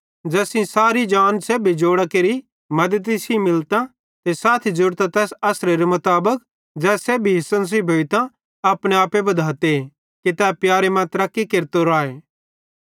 ज़ैस सेइं सारी जान सेब्भी जोड़ां केरि मद्दी सेइं साथी मिलतां ते साथी ज़ुड़तां तैस अस्सरेरे मुताबिक ज़ै सेब्भी हिसन सेइं भोइतां अपने आपे बद्धाते कि तै प्यारे मां तरक्की केरतो राए